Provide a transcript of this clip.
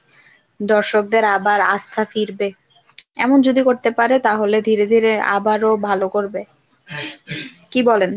দর্শকদের আবার আস্থা ফিরবে। এমন যদি করতে পারে তাহলে ধীরে ধীরে আবারো ভালো করবে, কি বলেন ?